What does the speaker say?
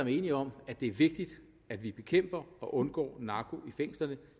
er enige om at det er vigtigt at vi bekæmper og undgår narko i fængslerne